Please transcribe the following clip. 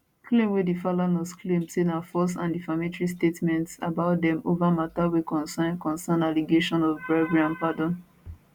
claim wey di falanas claim say na false and defamatory statements about dem over mata wey concern concern allegation of bribery and pardon